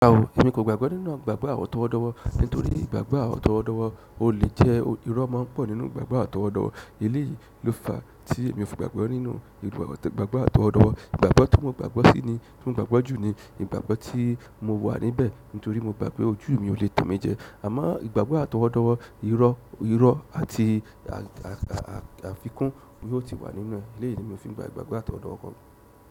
Rárá o, èmi kò gbàgbọ́ nínú ìgbàgbọ́ àtọwọ́dọ́wọ́ nítorí ìgbàgbọ́ àtọwọ́dọ́wọ́ o le jẹ́ irọ́ máa ń pọ̀ nínú ìgbàgbọ́ àtọwọ́dọ́wọ́. Èyí ló fa tí èmi ò fi gbàgbọ́ nínú ìgbàgbọ́ àt'ọwọ́dọ́wọ́ ìgbàgbọ́ tí mo gbàgbọ́ sí ni, tí mo gbàgbọ́ jù ni ìgbàgbọ́ tí mo wà níbẹ̀ nítorí mo gbà pé ojú mi ò lè tàn mí jẹ. Àmọ́ ìgbàgbọ́ àt'ọwọ́dọ́wọ́, irọ́, irọ́ àti àfikún ni ó ti wà nínú rẹ̀. Èléyìí ni mi ò fi gbà ìgbàgbọ́ àt'owọ́dọ́wọ́.